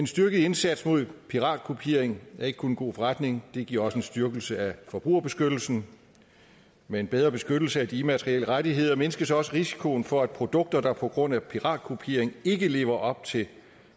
styrket indsats mod piratkopiering er ikke kun en god forretning det giver også en styrkelse af forbrugerbeskyttelsen med en bedre beskyttelse af de immaterielle rettigheder mindskes også risikoen for at produkter der på grund af paratkopiering ikke lever op til